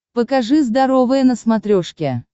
покажи здоровое на смотрешке